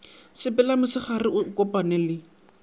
sepele mosegare a kopane le